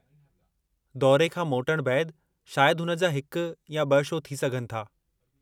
दौरे खां मोटण बैदि शायदि हुन जा हिकु या ॿ शो थी सघनि था।